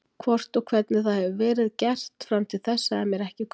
Hvort og hvernig það hefur verið gert fram til þessa er mér ekki kunnugt um.